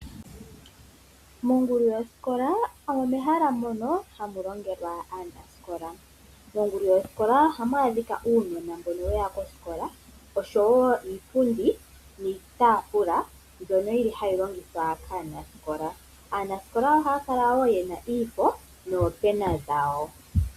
Mongulu yosikola omo mehala mono hamu longelwa aanasikola. Mongulu yosikola ohamu adhika uunona mbono weya kosikola, oshowo iipundi niitaafula, mbyono hayi longithwa kaanasikola. Aanasikola ohaya kala wo yena iifo, noopena dhawo.